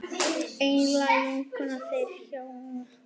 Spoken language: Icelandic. Einlæg vinkona þeirra hjóna.